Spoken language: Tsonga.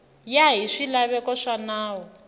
ya hi swilaveko swa nawu